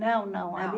Não, não. Ali